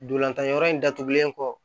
Ndolantan wɛrɛ datugulen kɔ